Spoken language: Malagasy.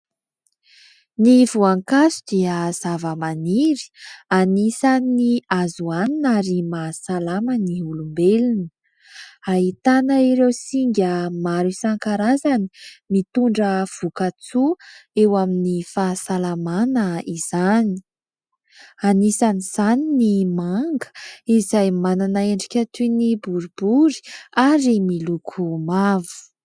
Ny voankazo dia zavamaniry anisan'ny azo hoanina ary mahasalama ny olombelona. Ahitana ireo singa maro isankarazany mitondra voka-tsoa eo amin'ny fahasalamana izany. Anisan'izany ny manga izay manana endrika toy ny boribory ary miloko mavo.